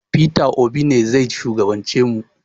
Peter Obi ne zai shugaban ce mu